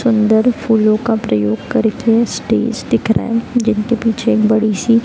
सुंदर फूलों का प्रयोग करके स्टेज दिख रहा है जिनके पीछे बड़ी सी --